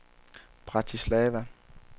Bratislava